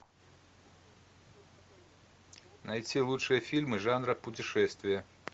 найти лучшие фильмы жанра путешествия